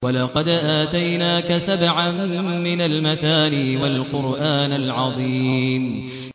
وَلَقَدْ آتَيْنَاكَ سَبْعًا مِّنَ الْمَثَانِي وَالْقُرْآنَ الْعَظِيمَ